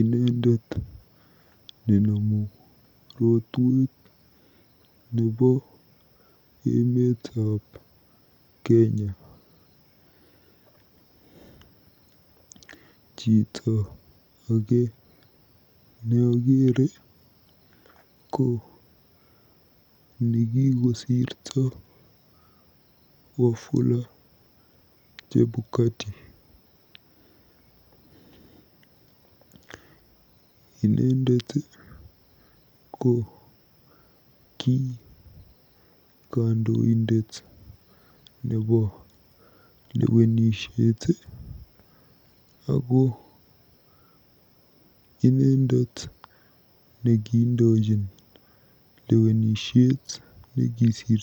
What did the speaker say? Inendet nenomu rotuet nebo emetab Kenya. Chito age neakere ko nekikosirto Wafula Chebukati. Inendet ko ki kandoindet nebo lewenisiet ako inendet nekiindochin lwenisiet nekisirtoi.